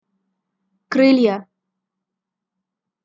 крылья